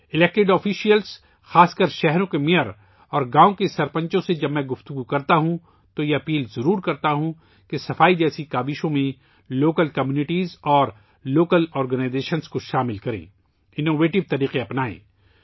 جب میں منتخب عہدیداروں، خاص طور پر شہروں کے میئروں اور دیہاتوں کے سرپنچوں سے بات چیت کرتا ہوں، تو میں ان سے یہ ضرور اپیل کرتا ہوں کہ وہ سووچھتا جیسی کوششون میں مقامی برادریوں اور مقامی تنظیموں کو شامل کریں ، اختراعی طریقے اپنائیں